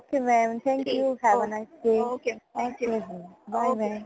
ok ma'am thank you have a nice day ok ਜੀ bye mam